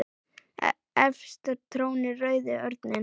Efst trónir rauði örninn.